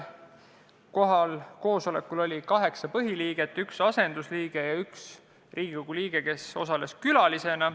Kohal oli kaheksa põhiliiget, üks asendusliige ja üks Riigikogu liige, kes osales külalisena.